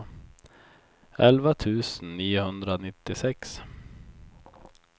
elva tusen niohundranittiosex